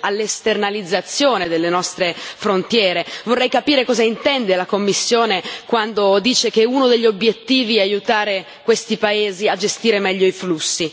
all'esternalizzazione delle nostre frontiere. Vorrei capire cosa intende la Commissione quando dice che uno degli obiettivi è aiutare questi paesi a gestire meglio i flussi.